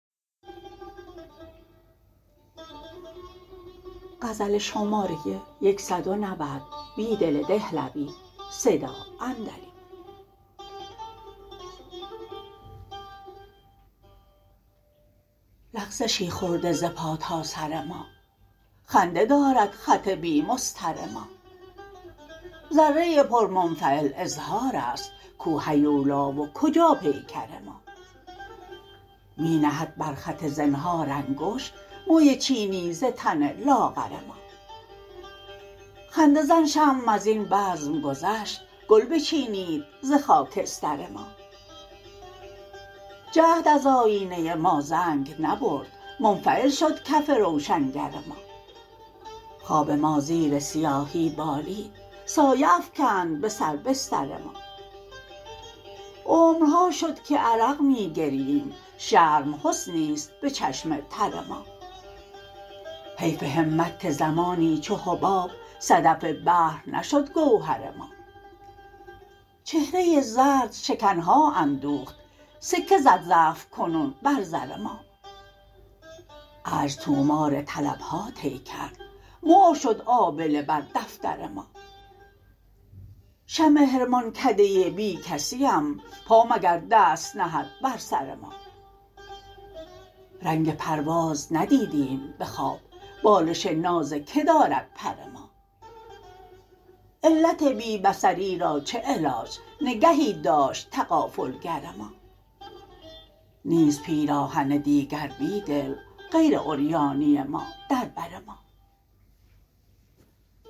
لغزشی خورده ز پا تا سر ما خنده دارد خط بی مسطر ما ذره پر منفعل اظهار است کو هیولا و کجا پیکر ما می نهد بر خط زنهار انگشت موی چینی ز تن لاغر ما خنده زن شمع ازین بزم گذشت گل بچینید ز خاکستر ما جهد از آیینه ما زنگ نبرد منفعل شد کف روشنگر ما خواب ما زیر سیاهی بالید سایه افکند به سر بستر ما عمرها شد که عرق می گرییم شرم حسنی است به چشم تر ما حیف همت که زمانی چو حباب صدف بحر نشد گوهر ما چهره زرد شکنها اندوخت سکه زد ضعف کنون بر زر ما عجز طومار طلبها طی کرد مهر شد آبله بر دفتر ما شمع حرمانکده بیکسی ام پا مگر دست نهد برسر ما رنگ پرواز ندیدیم به خواب بالش ناز که دارد پر ما علت بی بصری را چه علاج نگهی داشت تغافلگر ما نیست پیراهن دیگر بیدل غیر عریانی ما در بر ما